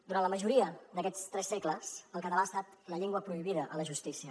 durant la majoria d’aquests tres segles el català ha estat la llengua prohibida a la justícia